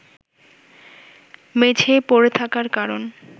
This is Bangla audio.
মেঝেয় পড়ে থাকার কারণ